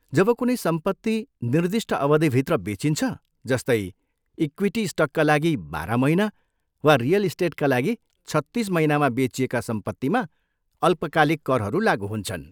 जब कुनै सम्पत्ति निर्दिष्ट अवधिभित्र बेचिन्छ, जस्तै इक्विटी स्टकका लागि बाह्र महिना वा रियल इस्टेटका लागि छत्तिस महिनामा बेचिएका सम्पत्तिमा अल्पकालिक करहरू लागु हुन्छन्।